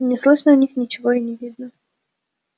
не слышно о них ничего и не видно